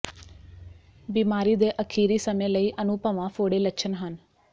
ਬੀਮਾਰੀ ਦੇ ਅਖੀਰੀ ਸਮੇਂ ਲਈ ਅਨੁਭਵਾਂ ਫੋੜੇ ਲੱਛਣ ਹਨ